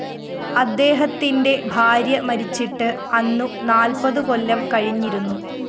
അദ്ദേഹത്തിന്റെ ഭാര്യ മരിച്ചിട്ട് അന്നു നാല്‍പതുകൊല്ലം കഴിഞ്ഞിരുന്നു